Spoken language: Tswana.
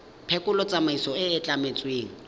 phekolo tsamaiso e e tlametsweng